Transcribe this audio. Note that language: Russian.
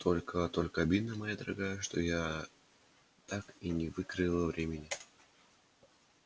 только только обидно моя дорогая что я так и не выкроила времени